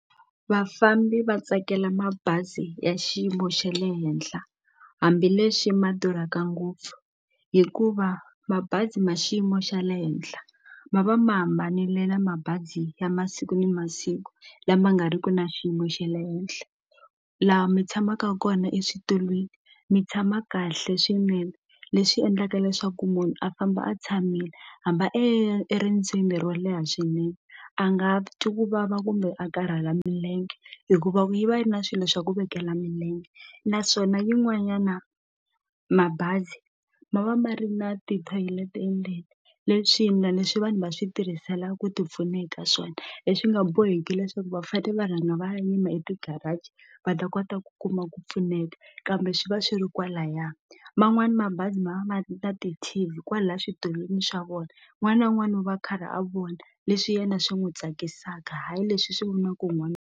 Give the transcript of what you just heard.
Vafambi va tsakela mabazi ya xiyimo xa le henhla hambileswi ma durhaka ngopfu hikuva mabazi ma xiyimo xa le henhla ma va ma hambanile na mabazi ya masiku ni masiku lama nga riki na xiyimo xa le henhla la mi tshamaka kona eswitulwini mi tshama kahle swinene leswi endlaka leswaku munhu a famba a tshamile eriendzweni ro leha swinene a nga twi ku vava kumbe a karhala milenge hikuva yi va yi ri na swilo swa ku vekela milenge naswona yin'wanyana mabazi ma va ma ri na ti-toilet endzeni leswi yindlwani leswi vanhu va swi tirhisela ku ti pfuna eka swona leswi nga boheki leswaku va fane va rhanga va ya yima eti-garage va ta kota ku ku kuma ku pfuneka kambe swi va swi ri kwalaya man'wani mabazi ma va ma ri na ti-T_V kwala switulwini swa vona n'wana un'wani u va a karhi a vona leswi yena swi n'wu tsakisaka hayi leswi hi swi vonaka hi .